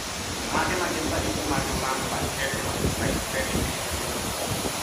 Mage magin ranyisi mag Lambert Eaton myasthenic syndrome?